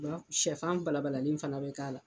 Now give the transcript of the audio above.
Sɛfan balabalalen fana bɛ k'a la